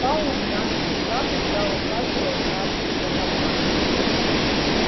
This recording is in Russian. пауэлл глянул туда куда указывал палец донована